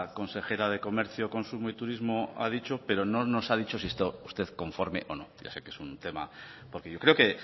consejera de comercio consumo y turismo ha dicho pero no nos ha dicho si está usted conforme o no ya ese que es un tema porque yo creo que